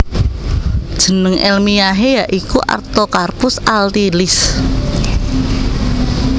Jeneng èlmiyahé ya iku Artocarpus altilis